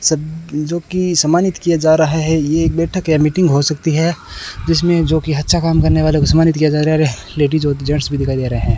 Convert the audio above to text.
सब जोकि सम्मानित किया जा रहा है ये एक बैठक या मीटिंग हो सकती है जिसमें जोकि अच्छा काम करने वाले को सम्मानित किया जा रहा है लेडिस होती जेंट्स भी दिखाई दे रहे हैं।